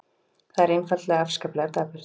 Það er einfaldlega afskaplega dapurt.